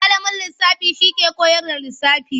Malamin lisafi shi ke kowar da lisafi.